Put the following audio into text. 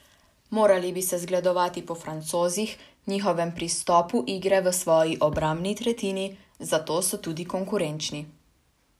Morali bi se zgledovati po Francozih, njihovemu pristopu igre v svoji obrambni tretjini, zato so tudi konkurenčni.